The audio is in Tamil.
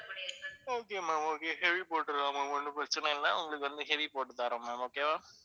okay ma'am, okay heavy போட்டுறலாம் ma'am ஒண்ணும் பிரச்சனை இல்ல. உங்களுக்கு வந்து heavy போட்டுத்தர்றேன் ma'am okay வா?